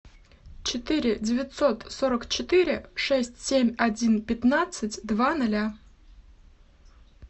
четыре девятьсот сорок четыре шесть семь один пятнадцать два ноля